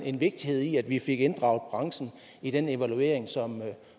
en vigtighed i at vi fik inddraget branchen i den evaluering